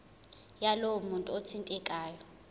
yalowo muntu othintekayo